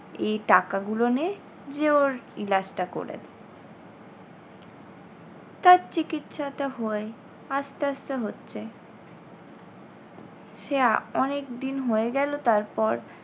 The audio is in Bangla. এই টাকাগুলো নে যে ওর টা করে দে। তার চিকিৎসাটা হয়, আস্তে আস্তে হচ্ছে। সে আ অনেকদিন হয়ে গেলো তারপর